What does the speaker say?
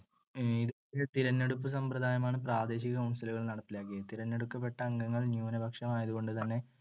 തിരഞ്ഞെടുപ്പു സമ്പ്രദായമാണ് പ്രാദേശിക council കൾ നടപ്പിലാക്കിയത്. തിരഞ്ഞെടുക്കപ്പെട്ട അംഗങ്ങൾ ന്യൂനപക്ഷമായതുകൊണ്ടുതന്നെ